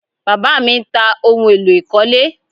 Bàbá mi ń ta ohun èlò ìkọ́lé